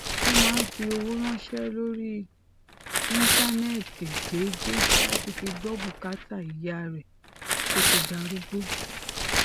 ó máa ń fi owó ránṣé lórí íńtánéètì déédéé láti fi gbó bùkátà ìyá rè tó ti darúgbó